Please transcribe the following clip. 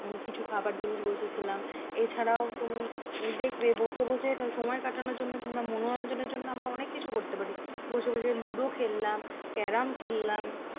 কিছু খাবার জিনিস বসে খেলাম এ ছাড়াও তুমি দেখবে বসে বসে সময় কাটানোর জন্য কিংবা মনোরঞ্জনের জন্য অনেক কিছু করতে পারি বসে বসে লুডো খেললাম কারাম খেললাম